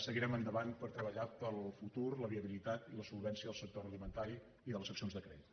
seguirem endavant per treballar per al futur la viabilitat i la solvència del sector agroalimentari i de les seccions de crèdit